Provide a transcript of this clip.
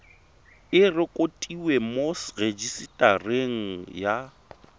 e rekotiwe mo rejisetareng ya